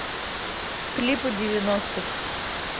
клипы девяностых